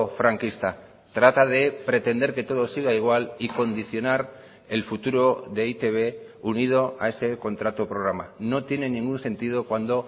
franquista trata de pretender que todo siga igual y condicionar el futuro de e i te be unido a ese contrato programa no tiene ningún sentido cuando